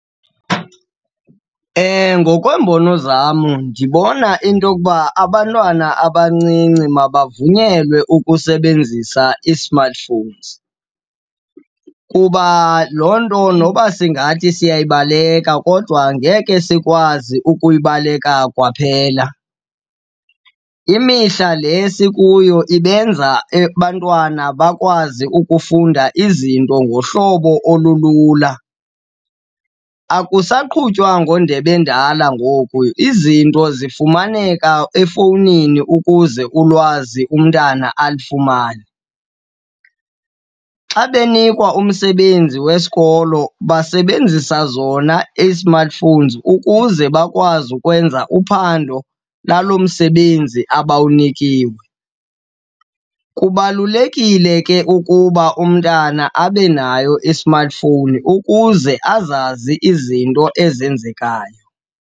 Ngokweembono zam ndibona into yokuba abantwana abancinci mabavunyelwe ukusebenzisa ii-smartphones, kuba loo nto noba singathi siyayibaleka kodwa ngeke sikwazi ukuyibaleka kwaphela. Imihla le sikuyo ibenza abantwana bakwazi ukufunda izinto ngohlobo olulula. Akusaqhutywa ngendebe endala ngoku, izinto zifumaneka efowunini ukuze ulwazi umntana alifumane. Xa benikwa umsebenzi wesikolo basebenzisa zona ii-smartphones ukuze bakwazi ukwenza uphando lalo msebenzi abawunikiwe. Kubalulekile ke ukuba umntana abe nayo i-smartphone ukuze azazi izinto ezenzekayo.